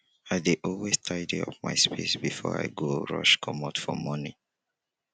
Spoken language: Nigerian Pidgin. i dey always tidy up my space before i go rush comot for morning.